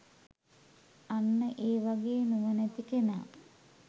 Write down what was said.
අන්න ඒ වගේ නුවණැති කෙනා